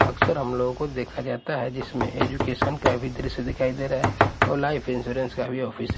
अक्सर हम लोगों को देखा जाता है जिसमें एजुकेशन का भी दृश्य दिखाई दे रहा है और लाइफ इंश्योरेंस का भी ऑफिस --